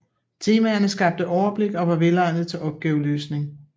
Temaerne skabte overblik og var velegnede til opgaveløsning